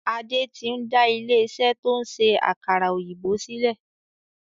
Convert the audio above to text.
Adé tí n da ilé iṣẹ́ to ń ṣe àkàrà òyìnbó sílẹ̀.